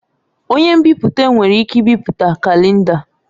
Onye nbipute nwere ike ibipụta kalenda.